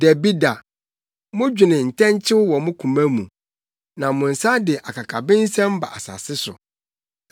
Dabi da! Modwene ntɛnkyew wɔ mo koma mu na mo nsa de akakabensɛm ba asase so.